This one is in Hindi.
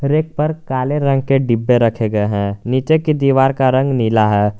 रैक पर काले रंग के डिब्बे रखे गए हैं नीचे की दीवार का रंग नीला है।